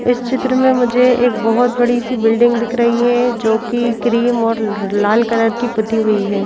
इस चित्र में मुझे एक बहुत बड़ी सी बिल्डिंग दिख रही है जो कि क्रीम और लाल कलर की पुती हुई हैं।